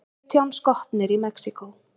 Sautján skotnir í Mexíkó